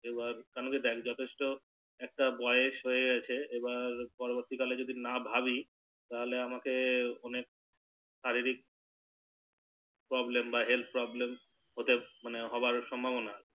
কেন কি দেখ যথেষ্ট একটা বয়স হয়ে গেছে এবার পরবর্তী কালে যদি না ভাবি তাহলে আমাকে অনেক শারীরিক Problem বা Health problem ওতে মানে হবার সম্ভবনা